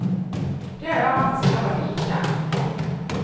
Det har jag haft sedan jag var liten.